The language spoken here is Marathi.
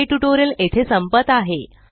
हे ट्यूटोरियल येथे संपत आहे